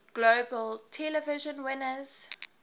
globe television winners